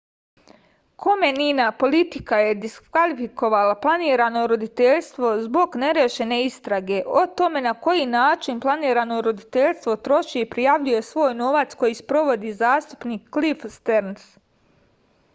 komenina politika je diskvalifikovala planirano roditeljstvo zbog nerešene istrage o tome na koji način planirano roditeljstvo troši i prijavljuje svoj novac koju sprovodi zastupnik klif sterns